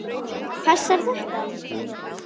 Passar þetta?